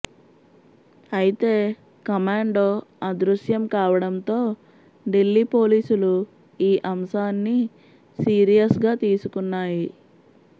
అయితే కమాండో అదృశ్యం కావడంతో ఢిల్లీ పోలీసులు ఈ అంశాన్ని సిరీయస్గా తీసుకున్నాయి